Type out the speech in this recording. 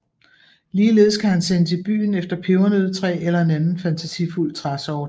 Ligeledes kan han sendes i byen efter pebernøddetræ eller en anden fantasifuld træsort